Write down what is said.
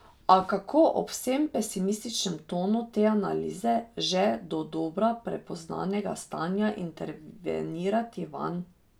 A kako ob vsem pesimističnem tonu te analize že dodobra prepoznanega stanja intervenirati vanj?